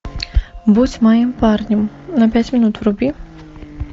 будь моим парнем на пять минут вруби